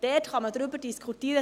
Darüber kann man diskutieren.